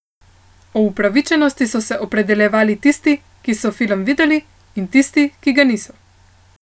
O upravičenosti so se opredeljevali tisti, ki so film videli, in tisti, ki ga niso.